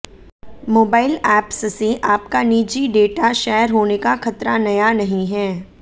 mobile apps से आपका निजी डेटा शेयर होने का खतरा नया नहीं है